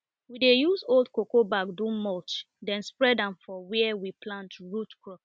we dey use old cocoa back do mulch then spread am for where we plant root crops